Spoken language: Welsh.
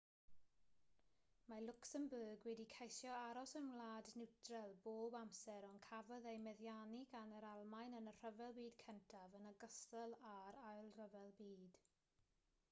mae lwcsembwrg wedi ceisio aros yn wlad niwtral bob amser ond cafodd ei meddiannu gan yr almaen yn y rhyfel byd cyntaf yn ogystal â'r ail ryfel byd